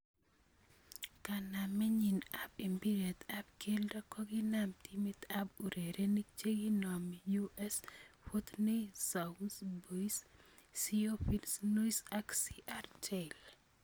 Kanamet nyin ab mbirrt ab keldo kokiname timit ab urerenik chikinomi US Fortenay-sous-Bois, CO Vincennois ak Cr�teil.